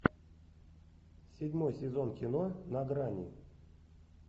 седьмой сезон кино на грани